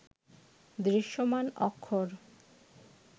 দৃশ্যমান অক্ষর